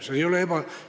Mõelge!